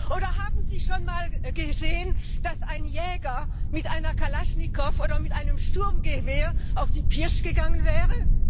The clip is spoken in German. Oder haben Sie schon mal gesehen, dass ein Jäger mit einer Kalaschnikow oder mit einem Sturmgewehr auf die Pirsch gegangen wäre?